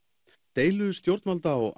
deila stjórnvalda og